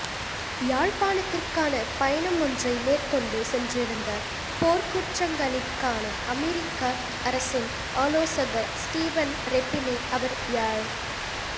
யாழ்ப்பாணத்திற்கான பயணமொன்றை மேற்கொண்டு சென்றிருந்த போர்க்குற்றங்களிற்கான அமெரிக்க அரசின் ஆலோசகர் ஸ்ரீபன் ரெப்பினை அவர் யாழ்